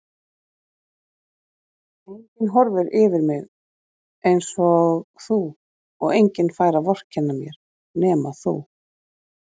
Enginn horfir yfir mig einsog þú og enginn fær að vorkenna mér nema þú.